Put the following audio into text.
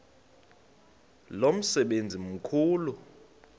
lo msebenzi mkhulu